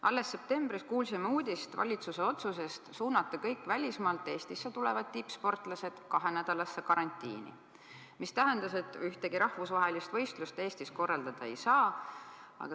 Alles septembris kuulsime uudist valitsuse otsuse kohta suunata kõik välismaalt Eestisse tulevad tippsportlased kahenädalasse karantiini, mis tähendas, et ühtegi rahvusvahelist võistlust Eestis korraldada ei saanud.